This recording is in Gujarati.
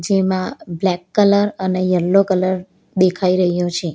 એમાં બ્લેક કલર અને યેલો કલર દેખાઈ રહ્યો છે.